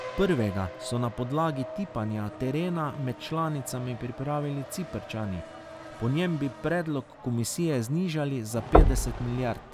Prvega so na podlagi tipanja terena med članicami pripravili Ciprčani, po njem bi predlog komisije znižali za petdeset milijard.